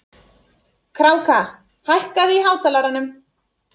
Kráka, hækkaðu í hátalaranum.